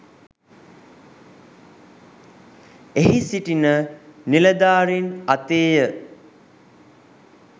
එහි සිටින නිලධාරින් අතේය.